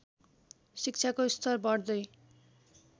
शिक्षाको स्तर बढ्दै